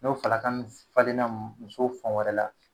N'o falaka nun falenna muso fan wɛrɛ la